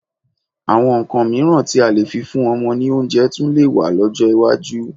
Àwọn nǹkan mìíràn tí a lè fi fún ọmọ ní oúnjẹ tún lè wà lọ́jọ́ iwájú.